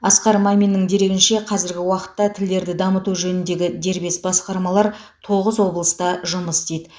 асқар маминнің дерегінше қазіргі уақытта тілдерді дамыту жөніндегі дербес басқармалар тоғыз облыста жұмыс істейді